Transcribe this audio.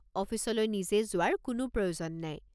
অফিচলৈ নিজে যোৱাৰ কোনো প্ৰয়োজন নাই।